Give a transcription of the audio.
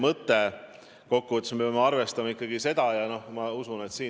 Kuna me leppisime kokku, et saalist on võimalik esitada üks küsimus, siis ma lõpetan nüüd selle küsimuse käsitlemise.